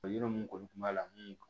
Yɔrɔ mun kɔni kun b'a la mun